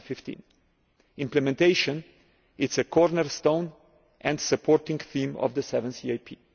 2015. Implementation is a cornerstone and a supporting theme of the seventh EAP.